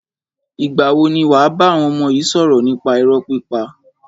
Ìgbà wo ni wàá bá àwọn ọmọ yi sọ̀rọ̀ nípa irọ́ pípa?